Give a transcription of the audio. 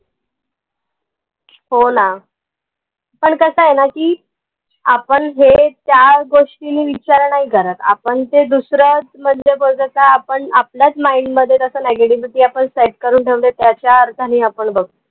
हो ना पन कसंय ना की आपन हे त्या गोष्टी विचार नाई करत आपन ते दुसरंच म्हनजे आपन आपल्याच mind मध्ये त्याच negativity आपन set करून ठेऊन त्याच्या अर्थानी आपन बघतो